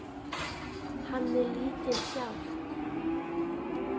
Hann er lífið sjálft.